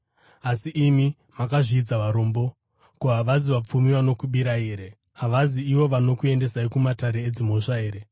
Asi imi makazvidza varombo. Ko, havasi vapfumi vanokubirai here? Havazi ivo vanokuendesai kumatare edzimhosva here?